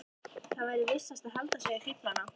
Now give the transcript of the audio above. Það væri vissast að halda sig við fíflana.